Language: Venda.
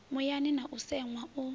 muyani na u seṅwa u